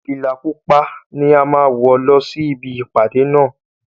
Fìlà pupa ni a máa wọ lọ sí ibi ìpàdé náà